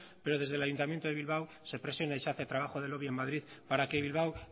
pero desde el ayuntamiento de bilbao se presiona y se hace trabajo de lobby en madrid para que bilbao